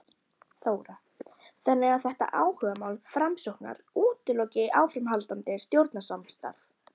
Þóra: Þannig að þetta áhugamál Framsóknar útiloki áframhaldandi stjórnarsamstarf?